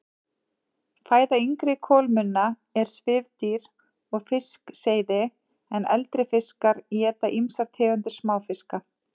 Fæða yngri kolmunna er svifdýr og fiskseiði en eldri fiskar éta ýmsar tegundir smáfiska.